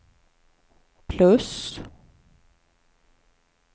plus